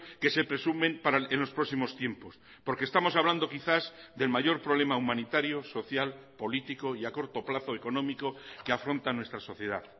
que se presumen en los próximos tiempos porque estamos hablando quizás del mayor problema humanitario social político y a corto plazo económico que afronta nuestra sociedad